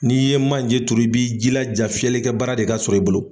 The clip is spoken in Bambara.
N'i ye manje turu i bi jilaja fiyɛlikɛ baara de ka sɔrɔ i bolo.